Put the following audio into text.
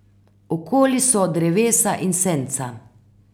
Okoli so drevesa in senca.